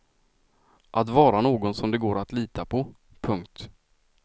Att vara någon som det går att lita på. punkt